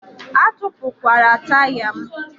Atupukwala taya m!